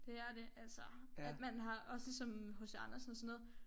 Det er det altså at man har også ligesom H C Andersen og sådan noget